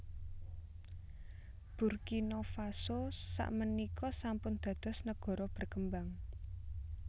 Burkina Faso sak menika sampun dados negara berkembang